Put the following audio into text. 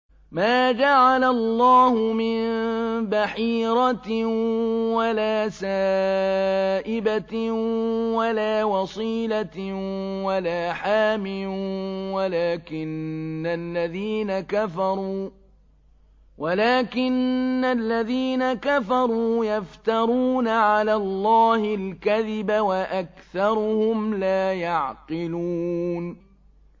مَا جَعَلَ اللَّهُ مِن بَحِيرَةٍ وَلَا سَائِبَةٍ وَلَا وَصِيلَةٍ وَلَا حَامٍ ۙ وَلَٰكِنَّ الَّذِينَ كَفَرُوا يَفْتَرُونَ عَلَى اللَّهِ الْكَذِبَ ۖ وَأَكْثَرُهُمْ لَا يَعْقِلُونَ